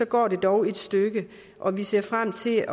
går det dog et stykke og vi ser frem til